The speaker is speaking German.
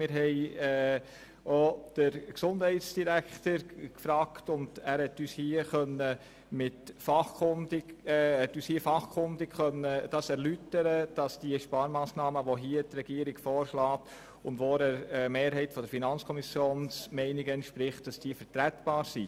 Wir fragten auch den Gesundheitsdirektor, und er konnte uns fachkundig erläutern, dass die von der Regierung vorgeschlagenen Sparmassnahmen, die ja auch der Meinung der FiKo-Mehrheit entsprechen, vertretbar sind.